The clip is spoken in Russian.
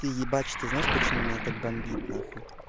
ты ебачь ты знаешь почему меня так бомбит нахуй